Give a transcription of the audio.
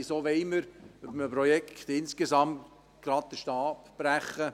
Wieso wollen wir über einem Projekt insgesamt gleich den Stab brechen?